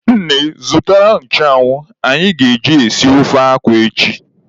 Nne zụtara nchụanwụ anyị ga-eji esi ofe akwụ echi.